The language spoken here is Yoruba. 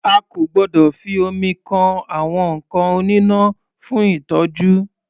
A kò gbọdọ̀ fi omi kan àwọn nǹkan oníná fún ìtọ́jú.